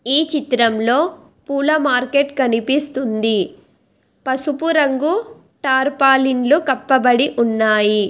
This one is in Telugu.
ఈ చిత్రంలో పూల మార్కెట్ కనిపిస్తుంది పసుపు రంగు తారుపాలిన్లు కప్పబడి ఉన్నాయి.